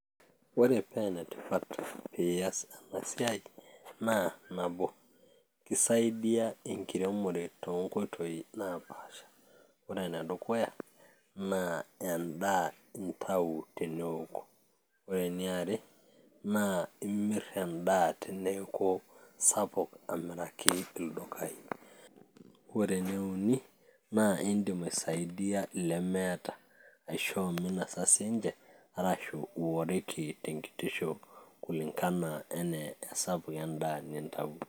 ore pee enetipat piiyas ena siai naa nabo kisaidiya enkiremore toonkoitoi naapasha ore enedukuya naa endaa intau teneoku ore eniare naa imirr endaa teneeku sapuk amiraki ildukai ore ene uni naa indim aisaidia ilemeeta aishoo minasa sinche arashu iworiki tenkitisho kulingana enaa esapuk endaa nintawuo.